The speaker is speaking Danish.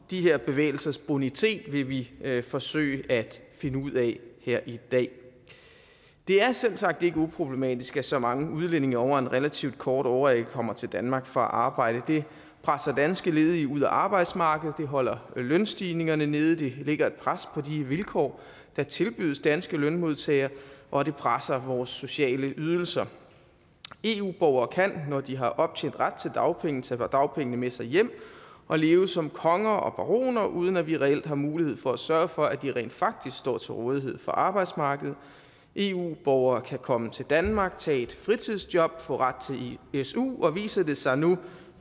de her bevægelsers bonitet vil vi forsøge at finde ud af her i dag det er selvsagt ikke uproblematisk at så mange udlændinge over en relativt kort årrække kommer til danmark for at arbejde det presser danske ledige ud af arbejdsmarkedet det holder lønstigningerne nede det lægger et pres på de vilkår der tilbydes danske lønmodtagere og det presser vores sociale ydelser eu borgere kan når de har optjent ret til dagpenge tage dagpengene med sig hjem og leve som konger og baroner uden at vi reelt har mulighed for at sørge for at de rent faktisk står til rådighed for arbejdsmarkedet eu borgere kan komme til danmark og tage et fritidsjob få ret til su og endda viser det sig nu